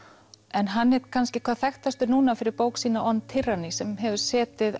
en hann er kannski hvað þekktastur núna fyrir bók sína on Tyranny sem hefur setið